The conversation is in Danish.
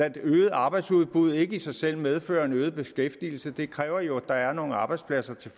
et øget arbejdsudbud ikke i sig selv medfører en øget beskæftigelse det kræver jo at der er nogle arbejdspladser til